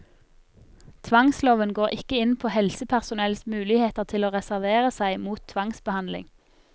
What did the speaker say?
Tvangsloven går ikke inn på helsepersonells muligheter til å reservere seg mot tvangsbehandling.